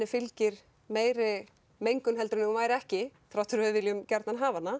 fylgir meiri mengun en ef hún væri ekki þrátt fyrir að við viljum gjarnan hafa hana